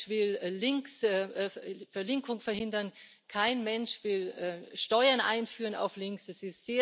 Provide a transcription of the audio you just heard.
Kein Mensch will Verlinkung verhindern, kein Mensch will Steuern auf Links einführen.